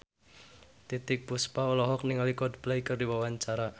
Titiek Puspa olohok ningali Coldplay keur diwawancara